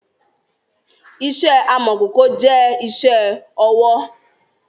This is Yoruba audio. Ìṣe amọ̀kòkò jẹ́ ìṣe ọwọ́